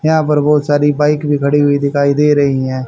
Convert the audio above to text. यहां पर बहुत सारी बाइक भी खड़ी हुई दिखाई दे रही हैं।